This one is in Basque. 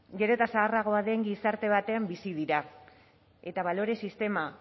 gero eta zaharragoa den gizarte batean bizi dira eta balore sistema